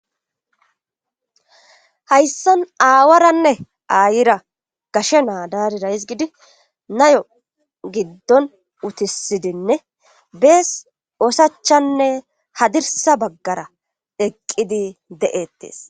Hayssan aaaawaranne aayiea gashe naa daarira hizgiidi nayo giddon utissidinne bees osachanne haddirssa baggara eqqid de7eettes.